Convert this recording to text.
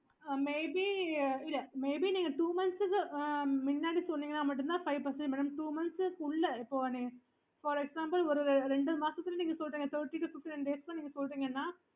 maybe நீங்க two months முன்னாடி சொன்னேங்க ன்ன மட்டும் தான் five percentage madamtwo months உள்ள for example ஒரு இரண்டு மாசத்துல நீங்க சொல்லிடீங்க thirty to fifty nine days ல நீங்க சொல்லிடீங்கன்னா